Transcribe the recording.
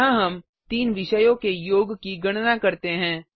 यहाँ हम तीन विषयों के योग की गणना करते हैं